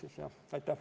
Aitäh!